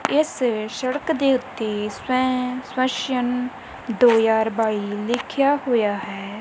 ਇਸ ਸੜਕ ਦੇ ਉੱਤੇ ਦੋ ਹਜਾਰ ਬਾਈ ਲਿਖਿਆ ਹੋਇਆ ਹੈ।